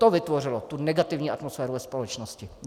To vytvořilo tu negativní atmosféru ve společnosti.